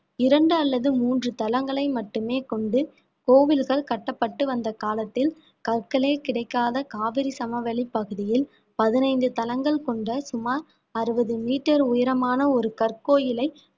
இரண்டு அல்லது மூன்று தளங்களை மட்டுமே கொண்டு கோவில்கள் கட்டப்பட்டு வந்த காலத்தில் கற்களே கிடைக்காத காவிரி சமவெளிப் பகுதியில் பதினைந்து தளங்கள் கொண்ட சுமார் அறுபது metre உயரமான ஒரு கற்கோயிலை